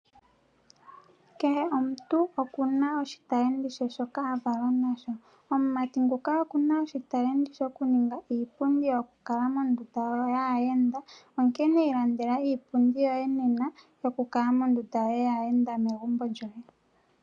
Kehe omuntu oku na oshitalenti she shoka a valwa nasho. Omumati nguka oku na oshitalenti shoku ninga iipundi yokukala mondunda yaayenda, onkene ilandela iipundi yoye nena yoku kala mondunda yaayenda megumbo lyoye.